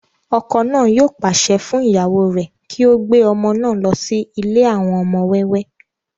ọkọ náà yóò pàṣẹ fún ìyàwó rẹ̀ kí ó gbé ọmọ náà lọ sí ilé àwọn ọmọ wẹ́wẹ́